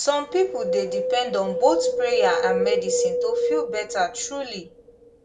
some people dey depend on both prayer and medicine to feel better truly